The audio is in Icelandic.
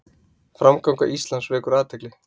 Framganga Íslands vekur athygli